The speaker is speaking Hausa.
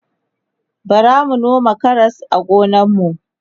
bara mun noma Karas a gonan mu